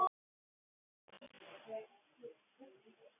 Ég vissi ekki hver hún var.